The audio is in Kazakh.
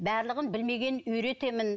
барлығын білмегенін үйретемін